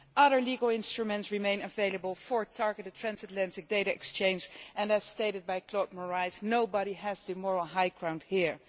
Other legal instruments remain available for targeted transatlantic data exchange and, as stated by Claude Moraes, nobody has the moral high ground here.